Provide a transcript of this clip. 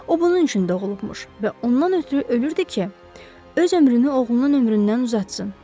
O bunun üçün doğulubmuş və ondan ötrü ölürdü ki, öz ömrünü oğlunun ömründən uzatsın.